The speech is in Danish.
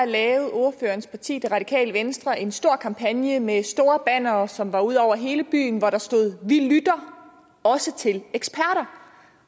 lavede ordførerens parti det radikale venstre en stor kampagne med store bannere som var ude over hele byen hvor der stod vi lytter også til eksperter